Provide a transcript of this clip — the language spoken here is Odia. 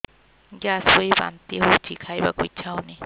ଗ୍ୟାସ ହୋଇ ବାନ୍ତି ହଉଛି ଖାଇବାକୁ ଇଚ୍ଛା ହଉନି